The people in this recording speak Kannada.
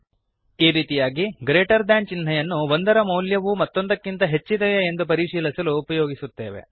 ಈ ರೀತಿಯಾಗಿ ಗ್ರೀಟರ್ ಥಾನ್ ಗ್ರೇಟರ್ ದೇನ್ ಚಿಹ್ನೆಯನ್ನು ಒಂದರ ಮೌಲ್ಯವು ಮತ್ತೊಂದಕ್ಕಿಂತ ಹೆಚ್ಚಿದೆಯೇ ಎಂದು ಪರಿಶೀಲಿಸಲು ಉಪಯೋಗಿಸುತ್ತೇವೆ